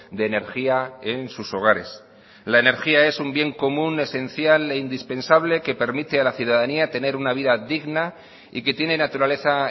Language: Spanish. de energía en sus hogares la energía es un bien común esencial e indispensable que permite a la ciudadanía tener una vida digna y que tiene naturaleza